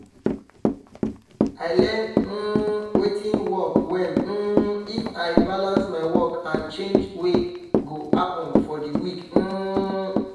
i learn um watin work well um if i balance my work and change wey go happen for the week um